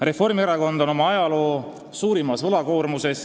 Reformierakonnal on oma ajaloo suurim võlakoormus.